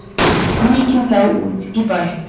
Víkjum þá út í bæ.